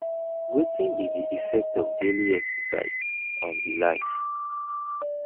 wetin be di effect of daily exercise on di life